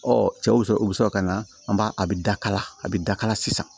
cɛ wusu o bi sɔrɔ ka na an ba a bi daka la a bɛ dakala sisan